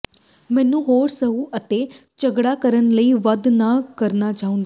ਮੈਨੂੰ ਹੋਰ ਸਹੁੰ ਅਤੇ ਝਗੜਾ ਕਰਨ ਲਈ ਵੱਧ ਨਾ ਕਰਨਾ ਚਾਹੁੰਦੇ